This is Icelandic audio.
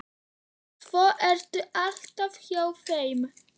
Og svo ertu alltaf hjá þeim.